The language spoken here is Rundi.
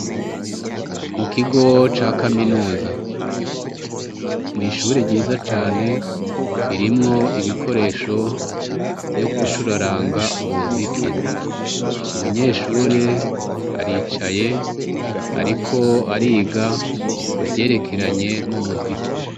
Mu kigo ca kaminuza, ishure ryiza cane irimwo ibikoresho vyo gucuraranga umuziki, umunyeshure aricaye ariko ariga ivyerekeranye n'umuziki.